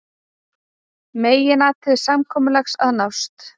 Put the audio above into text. Meginatriði samkomulags að nást